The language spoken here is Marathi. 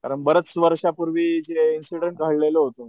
कारण बऱ्याच वर्षांपूर्वी जे इंसिडेन्ट राहिलेल होत,